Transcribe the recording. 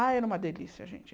Ah, era uma delícia, gente.